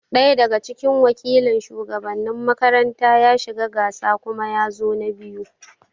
Ɗaya daga cikin wakilin shugabannin makaranta ya shiga gasa kuma yazo na biyu